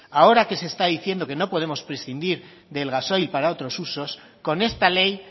ahora que se está diciendo que no podemos prescindir del gasoil para otros usos con esta ley